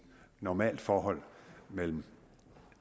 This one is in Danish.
normalt forhold mellem